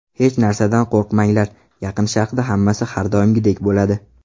Hech narsadan qo‘rqmanglar, Yaqin Sharqda hammasi har doimgidek bo‘ladi.